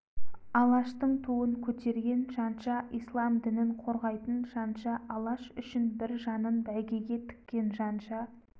алаштың туын көтерген жанша ислам дінін қорғайтын жанша алаш үшін бір жанын бәйгеге тіккен жанша